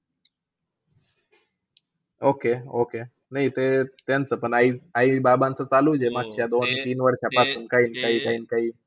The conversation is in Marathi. Okay, okay. नाही ते त्यांचं पण, आई आई-बाबांचं चालू दे मस्त. ह्या दोन -तीन वर्षांपासून पासून काही-काही.